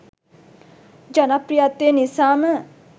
ජනප්‍රියත්වය නිසාම.